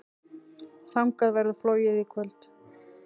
Þangað verður flogið í kvöld.